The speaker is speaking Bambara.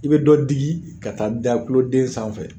I be dɔ digi ka taa da tuloden sanfɛ